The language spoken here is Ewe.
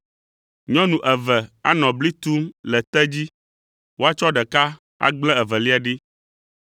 Nyɔnu eve anɔ bli tum le te dzi, woatsɔ ɖeka agblẽ evelia ɖi.